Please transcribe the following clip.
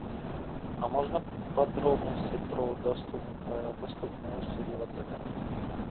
а можно подробности про доступные услуги в отеле